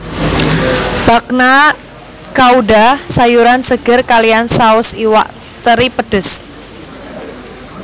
Bagna Cauda sayuran seger kaliyan saus iwak teri pedes